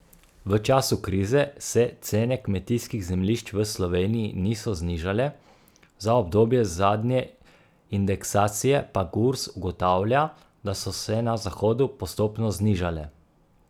V času krize se cene kmetijskih zemljišč v Sloveniji niso znižale, za obdobje zadnje indeksacije pa Gurs ugotavlja, da so se na zahodu postopno znižale.